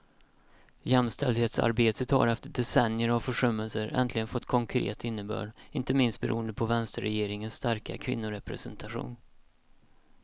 Jämställdhetsarbetet har efter decennier av försummelser äntligen fått konkret innebörd, inte minst beroende på vänsterregeringens starka kvinnorepresentation.